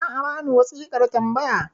za a bani wasiƙan tambaya